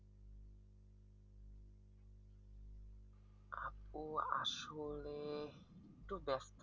আপু আসলে একটু ব্যস্ত।